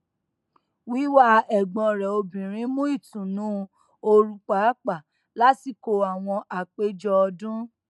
wíwá ẹgbọn rẹ obìnrin mú ìtùnú oru pàápàá lásìkò àwọn ápèjọ ọdún